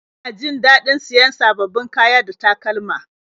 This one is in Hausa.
Ina jin daɗin siyan sababbin kaya da takalma